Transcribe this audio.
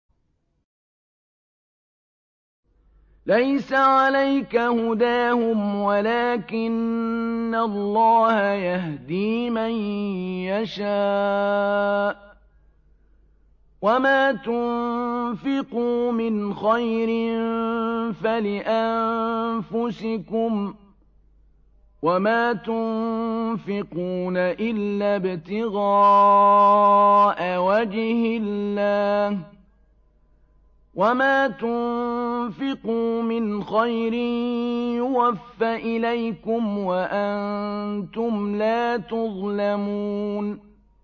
۞ لَّيْسَ عَلَيْكَ هُدَاهُمْ وَلَٰكِنَّ اللَّهَ يَهْدِي مَن يَشَاءُ ۗ وَمَا تُنفِقُوا مِنْ خَيْرٍ فَلِأَنفُسِكُمْ ۚ وَمَا تُنفِقُونَ إِلَّا ابْتِغَاءَ وَجْهِ اللَّهِ ۚ وَمَا تُنفِقُوا مِنْ خَيْرٍ يُوَفَّ إِلَيْكُمْ وَأَنتُمْ لَا تُظْلَمُونَ